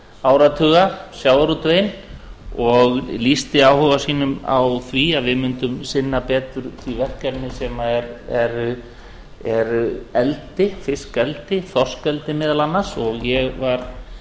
áratuga sjávarútveginn og lýsti áhuga sínum á því að við mundum sinna betur því verkefni sem er fiskeldi þorskeldi meðal annars og ég var